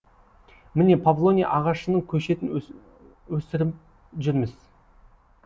міне павлония ағашының көшетін өсіріп жүрміз